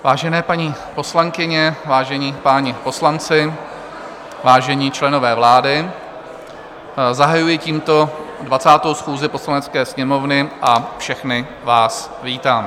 Vážené paní poslankyně, vážení páni poslanci, vážení členové vlády, zahajuji tímto 20. schůzi Poslanecké sněmovny a všechny vás vítám.